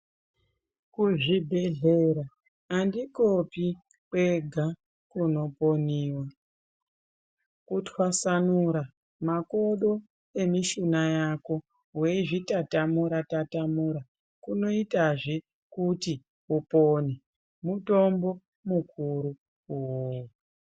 Kuzvibhehlera andikopi kwega kunoponiwa. Kutwasanura makodo emishuna yako weizvitatamura-tatamura kunoitazve kuti upone. Mutombo mukuru iwowo.